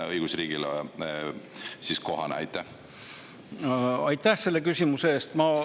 Aitäh selle küsimuse eest!